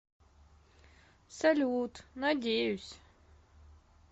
салют надеюсь